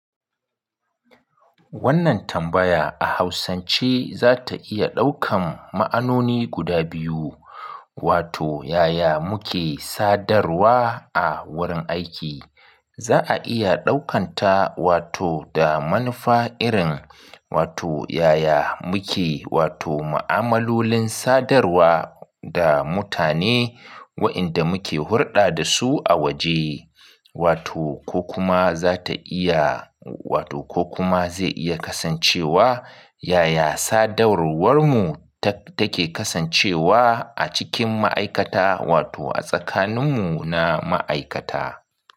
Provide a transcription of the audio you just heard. Wannan tambaya a hausance za ta iya ɗaukan ma'anoni guda biyu, wato yaya muke sadarwa a wurin aiki. Za a iya ɗaukanta wato da manufa irin wato yaya muke wato ma'amalolin sadarwa da mutane waɗanda muke hurɗa da su a waje, wato ko kuma za ta iya wato ko kuma zai iya kasancewa yaya sadarwarmu ta, take kasancewa a cikin ma'aikata wato a tsakaninmu na ma'aikata.